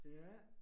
Ja